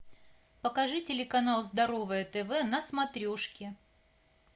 покажи телеканал здоровое тв на смотрешке